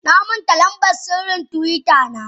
Namanta lamban sirrin twitter na.